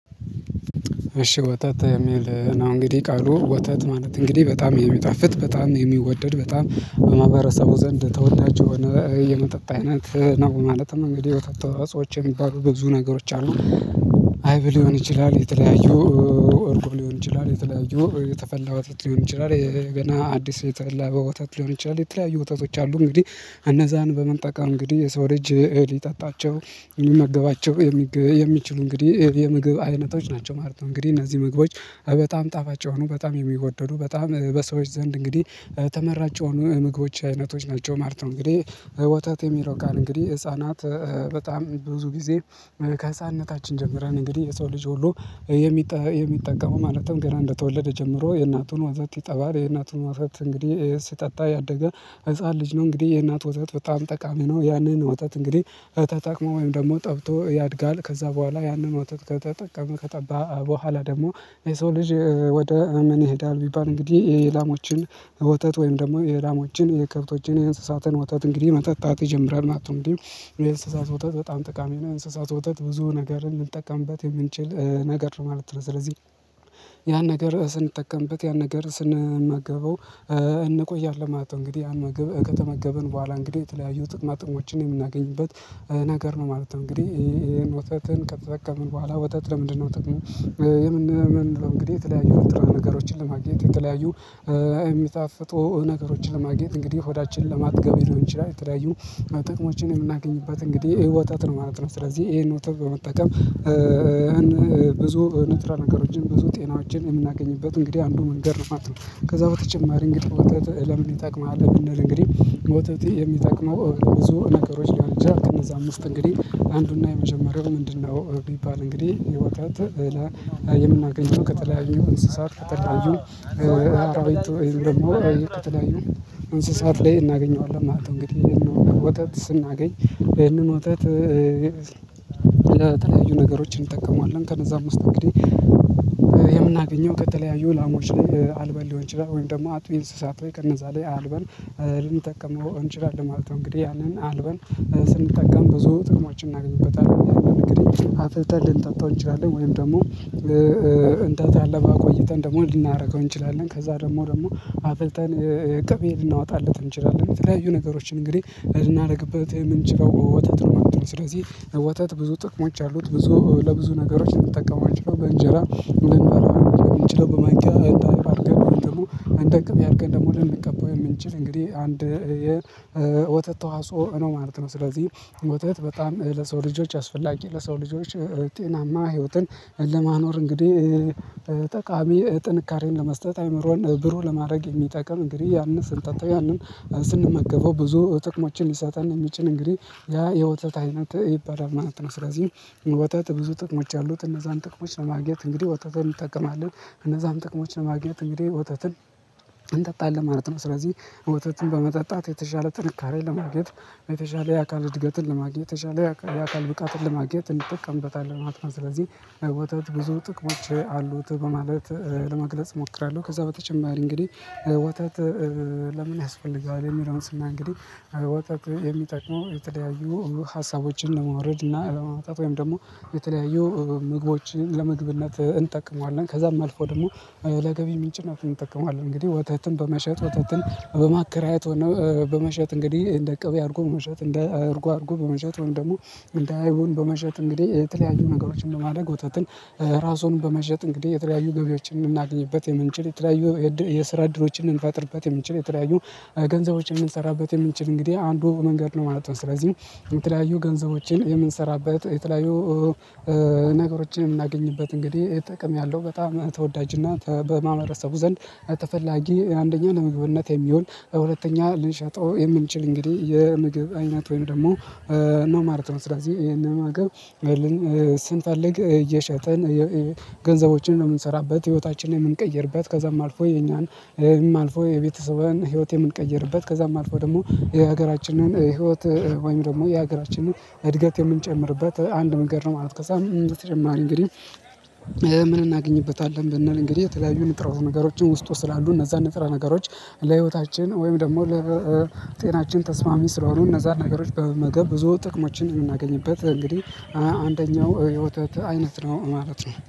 እሺ ወተት የሚል ነው እንግዲህ ቃሉ ወተት ማለት እንግዲህ በጣም የሚጣፍጥ በጣም የሚወደድ በጣም በማህበረሰቡ ዘንድ ተወዳጅ የሆነ የመጠጥ አይነት ነው። ማለትም እንግዲህ ወተት ተዋጽኦች የሚባሉ በብዙ ነገሮች አሉ። አይብ ሊሆን ይችላል የተለያዩ እርጎ ሊሆን ይችላል የተለያዩ የተፈላ ወተት ሊሆን ይችላል ገና አዲስ የተላበ በወተት ሊሆን ይችላል የተለያዩ ወተቶች አሉ። እንግዲህ እነዛን በመጠቀም እንግዲህ የሰው ልጅ ሊጠጣቸው የሚመገባቸው የሚችሉ እንግዲህ የምግብ አይነቶች ናቸው ማለት ነው። እንግዲህ እነዚህ ምግቦች በጣም ጣፋጭ የሆኑ በጣም የሚወደዱ በጣም በሰዎች ዘንድ እንግዲህ ተመራጭ የሆኑ ምግቦች አይነቶች ናቸው ማለት ነው። እንግዲህ ወታደሮች የሚረው ቃል እንግዲህ ህፃናት በጣም ብዙ ጊዜ ከህፃንነታችን ጀምረን እንግዲህ የሰው ልጅ ሁሉ የሚጠቀሙ ማለትም ገና እንደተወለደ ጀምሮ የእናቱን ወዘት ይጠባል የእናቱን ወተት እንግዲህ ሲጠጣ ያደገ ህፃን ልጅ ነው እንግዲህ የእናት ወተት በጣም ጠቃሚ ነው። ያንን ወተት እንግዲህ ተጠቅሞ ወይም ደግሞ ጠብቶ ያድጋል። ከዛ በኋላ ያንን ወጥቶ ከተጠቀመ ከጠባ በኋላ ደግሞ የሰው ልጅ ወደ ምን ይሄዳል ቢባል እንግዲህ የላሞችን ወተት ወይም ደግሞ የላሞዎችን የከብቶችን የእንስሳትን ወተት እንግዲህ መጠጣት ይጀምራል ማለት ነው። እንግዲህ እኔ የእንስሳት ወተት በጣም ጠቃሚ ነው እንስሳት ወጣት ብዙ ነገርን ልንጠቀምበት የምንችል ነገር ነው ማለት ነው። ስለዚህ ያን ነገር ስንጠቀምበት ያን ነገር ስንመገበው እንቆያለን ማለት ነው። እንግዲህ አመገብ ከተመገበን በኋላ እንግዲህ የተለያዩ ጥጥማጥሞችን የምናገኝበት ነገር ነው ማለት ነው። እንግዲህ ይሄን ወተትን ከተጠቀምን በኋላ ወተት ለምንድ ነው ጥቅሙ? እንደምንለው እንግዲህ የተለያዩ ንጥራ ነገሮችን ለማግኘት የተለያዩ የሚጣፍጡ ነገሮችን ለማግኘት እንግዲህ ሆዳችንን ለማጥገብ ሊሆን ይችላል የተለያዩ ጥቅሞችን የምናገኝበት እንግዲህ ይሄ ወተት ነው ማለት ነው። ስለዚህ ይሄን ወተት በመጠቀም ብዙ ንጥረ ነገሮችን ብዙ ጤናዎችን የምናገኝበት እንግዲህ አንዱ መንገድ ነው ማለት ነው። ከዛ በተጨማሪ እንግዲህ ለምን ይጠቅማል ብንል እንግዲህ ውተት የሚጠቅመው ብዙ ነገሮች ሊሆን ይችላል ከነዛም ውስት እንግዲህ አንዱና የመጀመሪያው ምንድነው? ቢባል እንግዲህ የወተት የምናገኘው ከተለያዩ እንስሳት ከተለያዩ አራዊቱ ውይም ደግሞ እንስሳት ላይ እናገኘዋለን ማለት ነው። እንግዲህ ይሄን ነው ወተት ስናገኝ ይህንን ወተት በተለያዩ ነገሮችን እንጠቀመዋለን ከነዛ ውስጥ እንግዲህ የምናገኘው ከተለያዩ ላሞች ላይ አልበ ሊሆን ይችላል ወይም ደግሞ አጥቢ እንስሳት ከነዛ ላይ አልበን ልንጠቀመው እንችላለን ማለት ነው። እንግዲህ ያንን አልበን ስንጠቀም ብዙ ጥቅሞችን እናገኝበታለን እንግዲህ አፍልተን ልንጠጣው እንችላለን ወይም ደግሞ እንደታለበለ አቆይተን ደግሞ ልናአረገው እንችላለን። ከዛ ደግሞ ደግሞ አፍልተን ቅቤ ልናወጣለት እንችላለን የተለያዩ ነገሮችን እንግዲህ ላይ ልናደርግበት የምንችለው ወተት ነው ስለዚህ። ወተት ብዙ ጥቅሞች አሉት ብዙ ለብዙ ነገሮች ልንጠቅም አንችለው በእንጀራ ልንበላው የምንችለው በማኪያ እንደአይብ አድርገን ደግሞ እንደ ቅቤ አድርገን ደግሞ ልንቀባው የምንችል እንግዲህ አንድ የወተት ተዋጽኦ ነው ማለት ነው። ስለዚህ ወተት በጣም ለሰው ልጆች አስፈላጊ ለሰው ልጆች ጤናማ ህይወትን ለማኖር እንግዲህ ጠቃሚ ጥንካሬን ለመስጠት አይምሮን ብሩህ ለማድረግ የሚጠቅም እንግዲህ ያንን ስንጠጣ ያንን ስንመገበው ብዙ ጥቅሞችን ሊሰጠን የሚችን እንግዲህ ያ የወተት አይነት ይባላል ማለት ነው። ስለዚህ ወተት ብዙ ጥቅሞች አሉት እነዛን ጥቅሞች ለማግኘት እንግዲህ ወተት እንጠቀማለን እነዛም ጥቅሞች ለማግኘት እንግዲህ ወተትን እንጠጣለን ማለት ነው። ስለዚህ ወተትን በመጠጣት የተሻለ ጥንካሬን ለማግኘት የተሻለ የአካል እድገትን ለማግኘት በተሻለ የአካል ብቃትን ለማግኘት እንጠቀምበታለን ማለት ነው። ስለዚህ ወተት ብዙ ጥቅሞች አሉት በማለት ለመግለጽ እሞክራለው። ከዛ በተጨማሪ እንግዲህ ወተት ለምን ያስፈልጋል? ስናይ እንግዲህ ወተት የሚጠቅመው የተደያዩ ሀሳቦችን ለማውረድ እና አለማውጣት ወይም ደግሞ የተለያዩ ምግቦችን ለመግብነት እንጠቅመዋለን ከዛም አልፎ ደግሞ ለገቢ ምንጭነቱን እንጠቅመዋለን። እንግዲህ ወተትን በመሸጥ ወተትን በማከራየት ሆነ በመሸጥ እንግዲህ እንደ ቀቤ አድርጎ በመሸጥ እንደ አድርጎ አድርጎ በመሸጥ ወይም ደግሞ እንደ አይቡን በመሸጥ እንግዲህ የተለያዩ ነገሮችን ለማድረግ ወተትን ራሱን በመሸጥ እንግዲህ የተለያዩ ገቢዎችን የምናገኝበት የምንችል የተለያዩ የስራ እድሎችን ልንፈጥርበት የምንችል የተለያዩ ገንዘቦችን ምንሰራበት የምንችል እንግዲህ አንዱ መንገድ ነው ማለት ነው። ስለዚህ የተለያዩ ገንዘቦችን የምንሰራበት የተለያዩ ነገሮችን የምናገኝበት እንግዲህ ጥቅም ያለው በጣም ተወዳጅና በማህበረሰቡ ዘንድ ተፈላጊ አንደኛ ለምግብነት የሚሆን ሁለተኛ ልንሸጠው የምንችል እንግዲህ የምግብ አይነት ወይም ደግሞ ነው ማለት ነው። ስለዚህ ይሄንን መመገብ ስንፈልግ እየሸጠን ገንዘቦችን ነው የምንሰራበት ህይወታችንን የምንቀይርበት ከዛም አልፎ የኛን ይህም አልፎ የቤተሰብን ህይወት የምንቀይርበት ከዛም አልፎ ደግሞ የሀገራችንን ህይወት ወይም ደግሞ የሀገራችንን እድገት የምንጨምርበት አንድ ነገር ነው። ማለት ከዛም እንደተጨማረ እንግዲህ ምን እናገኝበታለን ብንል እንግዲህ የተለያዩ ንጥረ ነገሮችን ውስጡ ስላሉ እነዛን ንጥረ ነገሮች ለህይወታችን ወይም ደግሞ ለጤናችን ተስማሚ ስለሆኑ እነዛን ነገሮች በመመገብ ብዙ ጥቅሞችን እንናገኝበት እንግዲህ አንደኛው የህይወተት አይነት ነው ማለት ነው